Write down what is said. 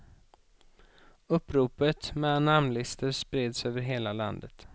Uppropet med namnlistor spreds över hela landet.